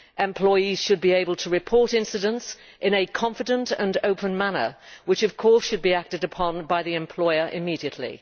Employees should be able to report incidents in a confident and open manner which, of course, should be acted upon by the employer immediately.